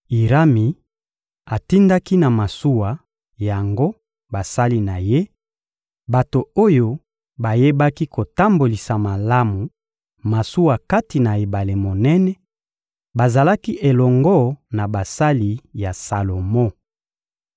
Irami atindaki na masuwa yango basali na ye, bato oyo bayebaki kotambolisa malamu masuwa kati na ebale monene; bazalaki elongo na basali ya Salomo.